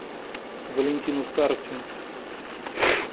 валентину старостину